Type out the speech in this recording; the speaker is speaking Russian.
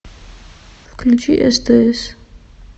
включи стс